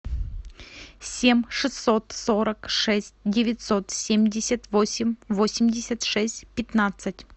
семь шестьсот сорок шесть девятьсот семьдесят восемь восемьдесят шесть пятнадцать